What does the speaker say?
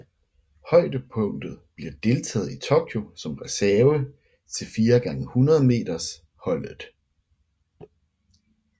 Højdepunktet bliver deltagelse i Tokyo som reserve til 4x100 m holdet